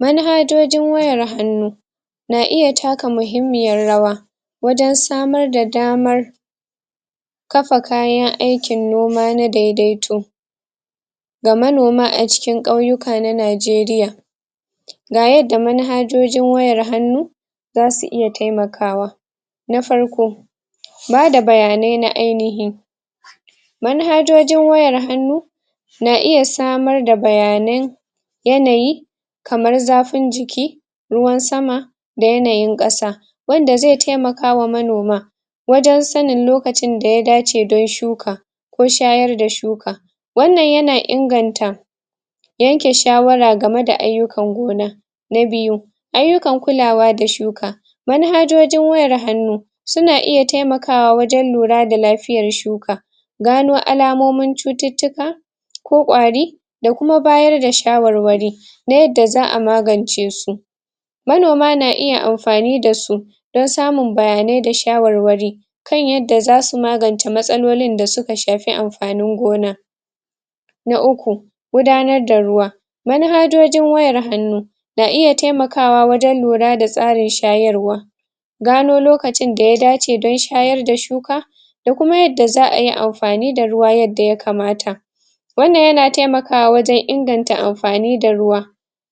Manhajojin wayar hanu na iya takka mahimmiyar rawa wajen tsamar da damar kafa kayan aikin noma na daidaito ga manoma a cikin kauyuka na Najeriya ga yadda manhajojin wayar hanu za su iya taimakawa. Na farko ba da bayane na ainihi manhajojin wayar hanu na iya samar da bayane yanayi, kamar zafin jiki ruwan sama, da yanayin kasa wanda zai taimaka wa manoma wajen sannin lokacin da ya dace dan shuka ko shayar da shuka, wannan ya na inganta yanke shawara a game da ayukan gona na biyu, ayukan kullawa da shuka manhajojin wayar hanu su na iya taimakawa wajen lura da lafiyar shuka gano alamomin cututuka ko ƙwari, da kuma bayar da shawarwari na yadda zaa magance su manoma na iya amfani da su dan samun bayane da shawarwari kan yadda za su maganta matsalolin da su ka shafi amfanin gona na uku, gudanar da ruwa manhajojin wayar hanu na iya taimakawa wajen lura da tsarin shayarwa gano lokacin da ya dace dan shayar da shuka da kuma yadda zaa yi amfani da ruwa yadda ya kamata wannan ya na taimakawa wajen inganta da amfani da ruwa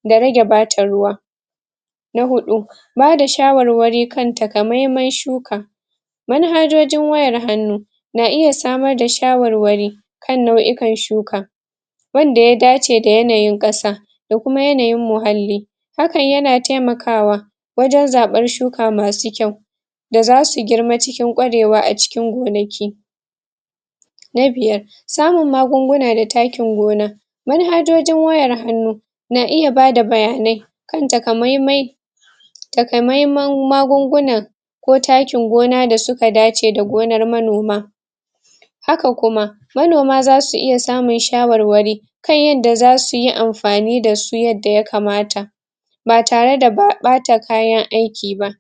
da rage bata ruwa na hudu, ba da shawarwari kanta ka mahimman shuka manhajojin wayar hanu na iya samar da shawarwari, kan nauyukan shuka wanda ya dace da yanayin kasa, da kuma yanayin muhalli hakan ya na taimakawa wajen zabar shuka masu kyau da za su girma cikin kwarewa a cikin gonaki. Na biyar, samun magunguna da takkin gona manhajojin wayar hanu na iya ba da bayane, kan takkamaimai takkamaimai'n magungunan ko takkin gona da su ka dace da gonar manoma haka kuma, manoma za su iya samun shawarwari kan yadda za su yi amfani da su yadda ya kamata ba tare da ba bata kayan aiki ba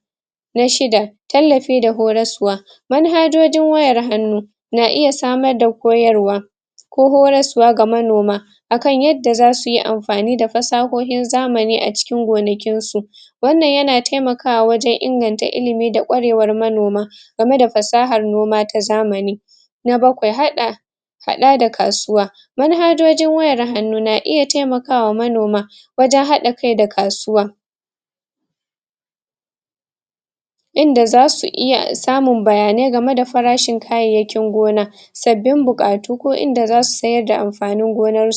Na shidda, tallafa da horosuwa manhajojin wayar hanu, na iya samar da koyarwa ko horosuwa ga manoma akan yadda za su yi amfani da fasahohin zamani a cikin gonakin su wannan ya na taimakawa wajen inganta ilimi da kwarewar manoma game da fasahar noma ta zamani Na bakwai, hada, hada da kasuwa manhajojin wayar hanu na iya taimaka wa manoma wajen hada kai da kasuwa. Inda za su iya sa mu bayane game da farashin kayakin gona sabin bukatu ko inda za su sayar da amfanin gonar